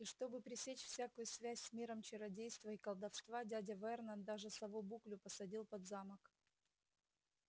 и чтобы пресечь всякую связь с миром чародейства и колдовства дядя вернон даже сову буклю посадил под замок